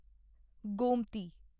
Gomti